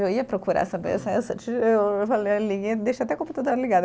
Eu ia procurar essa essa essa, eu falei até ligada.